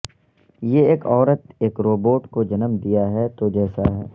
یہ ایک عورت ایک روبوٹ کو جنم دیا ہے تو جیسا ہے